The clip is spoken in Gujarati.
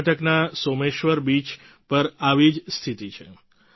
કર્ણાટકના સોમેશ્વર બીચ પર આવી જ સ્થિતી છે